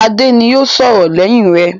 Adé ni yóò sọ̀rọ̀ lẹ́yìn rẹ.